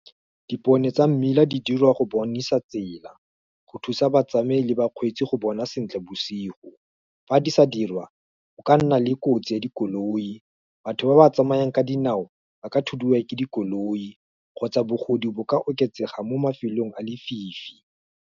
Dipone tsa mmila di dirwa go bonesa tsela, go thusa batsamai le bakgweetsi go bona sentle bosigo, fa di sa dirwa, o ka nna le kotsi ya dikoloi, batho ba ba tsamayang ka dinao, ba ka thudiwa ke dikoloi, kgotsa bogodu bo ka oketsega mo mafelong a lefifi.